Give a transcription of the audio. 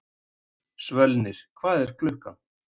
Svölnir, hvað er klukkan?